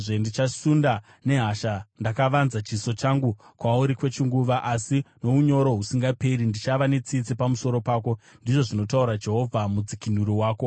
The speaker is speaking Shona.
Ndichisundwa nehasha ndakavanza chiso changu kwauri kwechinguva, asi nounyoro husingaperi ndichava netsitsi, pamusoro pako,” ndizvo zvinotaura Jehovha Mudzikinuri wako.